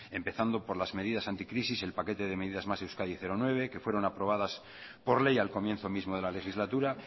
empezando por las medidas anticrisis el paquete de medidas más euskadi nueve que fueron aprobadas por ley al comienzo mismo de la legislatura